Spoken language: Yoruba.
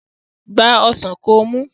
Gba ọsàn kó mu!